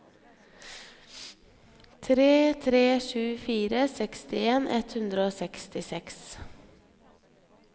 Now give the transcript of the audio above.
tre tre sju fire sekstien ett hundre og sekstiseks